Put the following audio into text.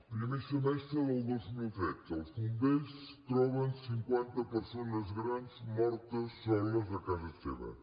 primer semestre del dos mil tretze els bombers troben cinquanta persones grans mortes soles a casa seva